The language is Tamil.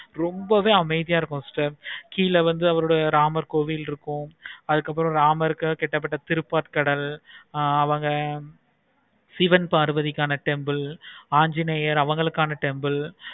ரொம்பவே அமைதியா இருக்கும் sister கீழ வந்து அவருடைய ராமர் கோவில் இருக்கும். அதுக்கு அப்பறம் ராமர் கிட்ட தட்ட திருப்பாற்கடல் அவங்க சிவன் பார்வதிக்கான temple ஆஞ்சிநேயர் அவங்களுக்கு ஆனா temple